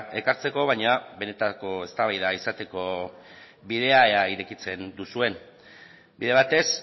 ekartzeko baina benetako eztabaida izateko bidea ea irekitzen duzuen bide batez